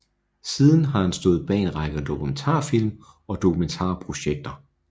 Siden har han stået bag en række dokumentarfilm og dokumentarprojekter